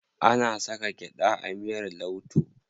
Ana saka gyaɗa a miyar lauto.